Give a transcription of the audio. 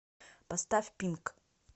поставь пинк